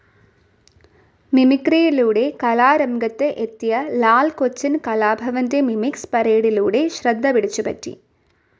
മിമിക്രിയിലൂടെ കലാരംഗത്ത് എത്തിയ ലാൽ കൊച്ചിൻ കലാഭവന്റെ മിമിക്സ്‌ പരേഡിലൂടെ ശ്രദ്ധപിടിച്ചുപറ്റി.